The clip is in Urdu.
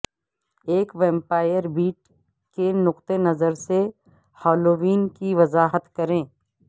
ایک ویمپائر بیٹ کے نقطہ نظر سے ہالووین کی وضاحت کریں